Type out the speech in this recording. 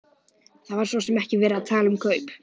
Það var svo sem ekki verið að tala um kaup.